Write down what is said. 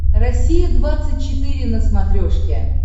россия двадцать четыре на смотрешке